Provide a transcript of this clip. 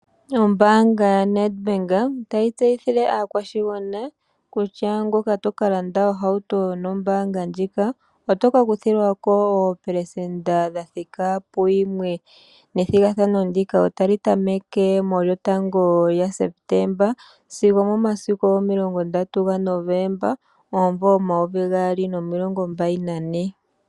Ombaanga yaNedBank otayi tseyithile aakwashigwana kutya ngoka toka landa ohauto nombaanga ndjika otoka kuthilwako oopelesenda dha thika puyimwe. Nethigathano ndika otali tameke mulyotango lyaSeptemba sigo omomasiku omilongondatu gaNovomba omumvo omayovi gaali nomilongombali nane.